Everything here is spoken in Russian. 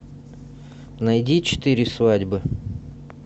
найди четыре свадьбы